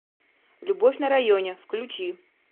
любовь на районе включи